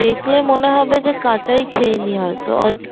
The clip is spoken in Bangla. দেখলে মনে হবে যে কাচাই খেয়ে নি হয়েত